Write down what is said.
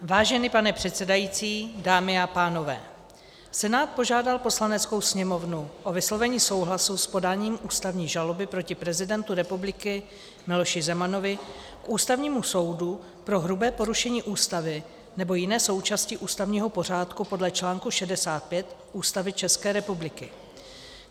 Vážený pane předsedající, dámy a pánové, Senát požádal Poslaneckou sněmovnu o vyslovení souhlasu s podáním ústavní žaloby proti prezidentu republiky Miloši Zemanovi k Ústavnímu soudu pro hrubé porušení Ústavy nebo jiné součásti ústavního pořádku podle článku 65 Ústavy České republiky.